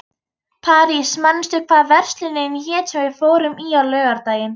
París, manstu hvað verslunin hét sem við fórum í á laugardaginn?